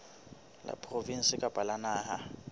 la provinse kapa la naha